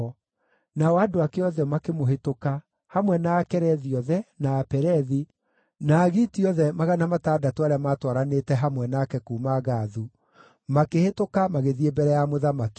Nao andũ ake othe makĩmũhĩtũka, hamwe na Akerethi othe, na Apelethi, na Agiti othe magana matandatũ arĩa maatwaranĩte hamwe nake kuuma Gathu, makĩhĩtũka magĩthiĩ mbere ya mũthamaki.